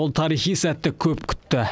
ол тарихи сәтті көп күтті